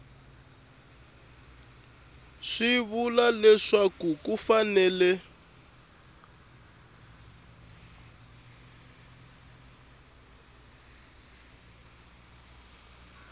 swi vula leswaku ku fanele